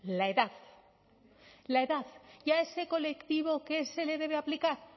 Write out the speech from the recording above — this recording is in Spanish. la edad la edad y a ese colectivo qué se le debe aplicar